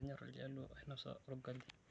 Kenyorr iljaluo ainosa olgali.